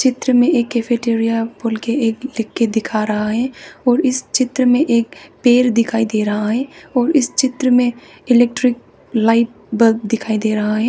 चित्र में एक कैफेटेरिया बोल के एक लिखके दिखा रहा है और इस चित्र में एक पेड़ दिखाई दे रहा है और इस चित्र में इलेक्ट्रिक लाइट बल्ब दिखाई दे रहा है।